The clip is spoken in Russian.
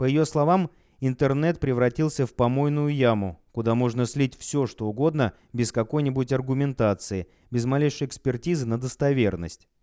по её словам интернет превратился в помойную яму куда можно слить всё что угодно без какой-нибудь аргументации без малейшей экспертизы на достоверность